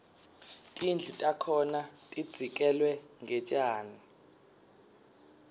tindlu takhona tidzekelwe ngetjani